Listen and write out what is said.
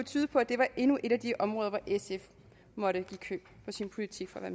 tyde på at det var endnu et af de områder hvor sf måtte give køb på sin politik for